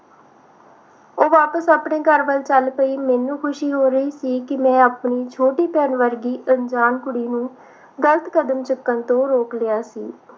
ਉਹ ਵਾਪਿਸ ਆਪਣੇ ਘਰ ਵੱਲ ਚਲ ਪਈ ਮੈਨੂੰ ਖੁਸ਼ੀ ਹੋ ਰਹੀ ਸੀ ਕਿ ਮੈਂ ਆਪਣੀ ਛੋਟੀ ਭੈਣ ਵਰਗੀ ਅਣਜਾਣ ਕੁੜੀ ਨੂੰ ਗਲਤ ਕਰਦਾ ਚੁੱਕਣ ਤੋਂ ਰੋਕ ਲਿਆ ਸੀ l